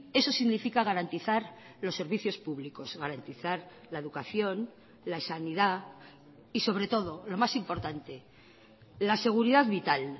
eso significa garantizar los servicios públicos garantizar la educación la sanidad y sobre todo lo más importante la seguridad vital